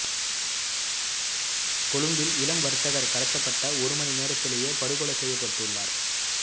கொழும்பில் இளம் வர்த்தகர் கடத்தப்பட்ட ஒரு மணி நேரத்திலேயே படுகொலை செய்யப்பட்டுள்ளார்